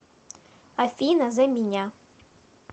афина за меня